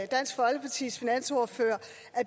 dansk folkepartis finansordfører